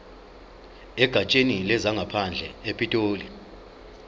egatsheni lezangaphandle epitoli